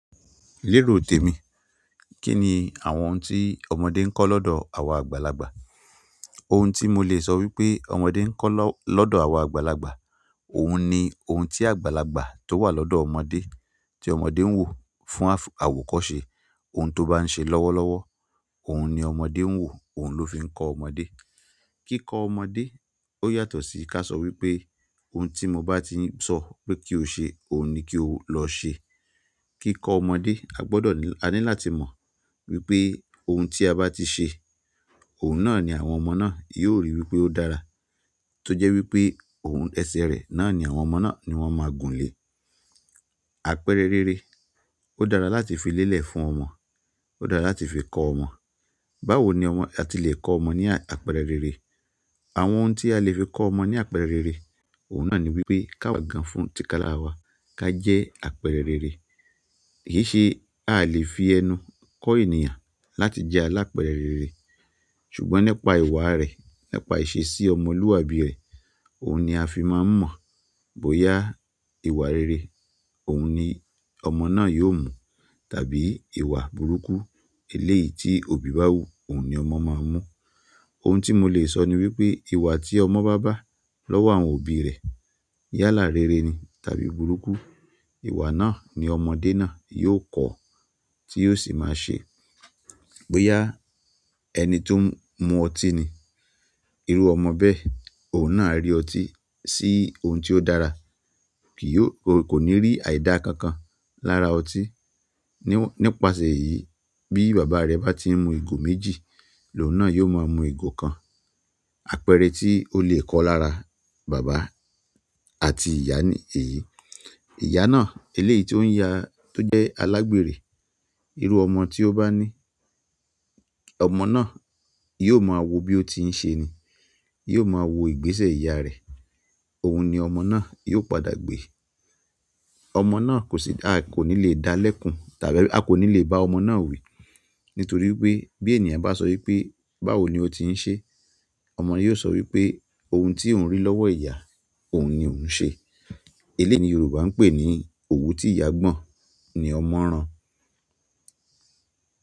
Lérò tèmi, kí ni àwọn ohun tí ọmọdé ń kọ́ lọ́dọ̀ àwa àgbàlagbà? Ohun tí mo lè sọ wípé ọmọdé ń kọ́ lọ́dọ̀ àwa àgbàlagbà, òun ni ohun tí àgbàlagbà tó wà lọ́dọ̀ ọmọdé tí ọmọdé ń wò fún àwọ̀kọ́ se oun to ba n se lọ́wọ́lọ́wọ́, oun ni ọmọdé n wo, oun lo fi nko ọmọdé. Kíkọ ọmọdé ó yàtọ̀ sí ká sọ wípé ohun tí mo bá ti ń sọ pé kí o ṣe, òun ni kí o lọ ṣe. Kíkọ ọmọdé a gbọ́dọ̀ ni- a ní láti mọ wípé ohun tí a bá ti ṣe, òun náà ni àwọn ọmọ náà yóò ríi wípé ó dára. Ti o je wi pe oun ese re náà ni àwọn ọmọ náà, ni won ma gun le àpẹẹrẹ rere, ó dára láti fi lélẹ̀ fún ọmọ, ó dára láti fi kọ ọmọ. Báwo ni ọmọ- a ti le kọ ọmọ ní àpẹẹrẹ rere? Àwọn oun ti a le fi ko ọmọ ni àpẹẹrẹ rere, oun náà ni wi pe ki awa gan fún tikalara wa, ki a je àpẹẹrẹ rere. Kì í ṣe- a a lè fi ẹnu kọ ènìyàn láti jẹ́ alápẹẹrẹ rere. Ṣùgbọ́n nípa ìwà rẹ̀, nípa ìṣe sí ọmọlúàbí rẹ̀, òun ni a fi máa ń mọ̀. Bóyá ìwà rere òun ni ọmọ náà yóò mú tàbí ìwà burúkú eléèyì tí òbí bá wù, òun ni ọmọ máa ń mú. Ohun tí mo lè sọ ni wípé ìwà tí ọmọ bá bá lọ́wọ́ àwọn òbí rẹ̀ yálà rere ni tàbí burúkú, ìwà náà ni ọmọdé náà yóò kọ́ tí yóò sì máa ṣe. Bóyá ẹni tó ń mu ọtí ni, irú ọmọ bẹ́ẹ̀ òun náà á rí ọtí sí ohun tí ó dára. Ki yi o- ko ni ri ai da kankan lára oti, ni won nípasẹ̀ èyí bí bàbá rẹ̀ bá ti ń mu ìgò méjì, lọ́un nà yóò máa mú ìgò kan. Àpẹẹrẹ tí ó lè kọ lára bàbá àti ìyá ni èyí. Iya na, eleeyi ti o n ya- ti o je alagbeere, iru ọmọ ti o ba ni, ọmọ na yóò mà wo bí ó ti ń ṣe ni. Yóò mà wo ìgbésẹ̀ ìyá rẹ̀. Ohun ni ọmọ náà yóò padà gbé. Ọmọ náà kò sì da- kò ní lè dá lẹ́kùn tàbí a kò ní lè bá ọmọ náà wí. Nítorí wípé bí ènìyàn bá sọ wípé báwo ni ó ti ń ṣe? Ọmọ yóò sọ wípé ohun tí òun rí lọ́wọ́ ìyá òun ni òun ń ṣe. Eléèyi ni Yorùbá ń pè ní òwú tí ìyá gbọ̀n ni ọmọ rán.